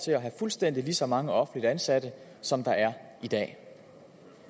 til at have fuldstændig lige så mange offentligt ansatte som der er i dag